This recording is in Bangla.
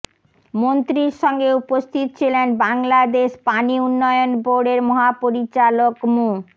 মন্ত্রীর সঙ্গে উপস্থিত ছিলেন বাংলাদেশ পানি উন্নয়ন বোর্ডের মহাপরিচালক মো